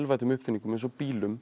uppfinningum eins og bílum